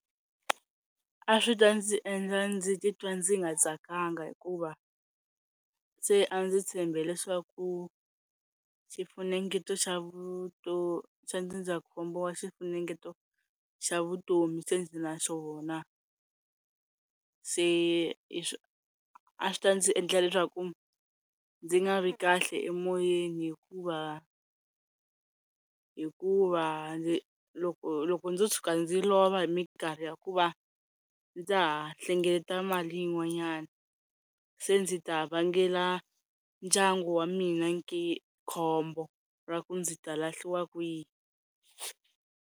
A swi ta ndzi endla ndzi titwa ndzi nga tsakanga hikuva se a ndzi tshembe leswaku xifunengeto xa xa ndzindzakhombo wa xifunengeto xa vutomi se ndzi na xona se hi swa a swi ta ndzi endla leswaku ndzi nga ri kahle emoyeni hikuva hikuva ndzi loko loko ndzo tshuka ndzi lova hi minkarhi ya ku va ndza ha hlengeleta mali yin'wanyana se ndzi ta vangela ndyangu wa mina khombo ra ku ndzi ta lahliwa kwihi.